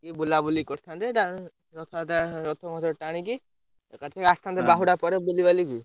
ଟିକେ ବୁଲାବୁଲି କରିଥାନ୍ତେ ରଥଯାତ୍ରା ରଥ ମଥ ଟାଣିକି, ଏକାଥର ଆସିଥାନ୍ତେ ବାହୁଡା ପରେ ବୁଲିବାଲିକି।